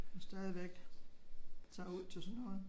Og stadigvæk tager ud til sådan noget